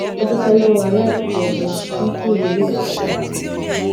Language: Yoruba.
ó dúpé lówó aládùúgbò náà fún sùúrù tó ní